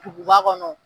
Duguba kɔnɔ